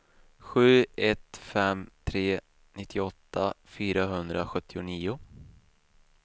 sju ett fem tre nittioåtta fyrahundrasjuttionio